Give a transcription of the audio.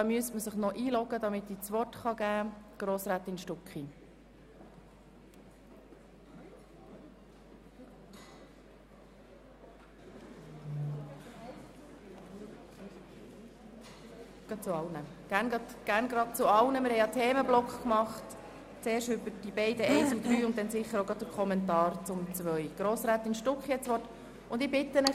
Ich bitte Sie, gleich zu allen drei Planungserklärungen zu sprechen, das heisst zuerst zu den Planungserklärungen 1 und 3, und dann auch noch einen Kommentar zur zweiten Planungserklärung abzugeben.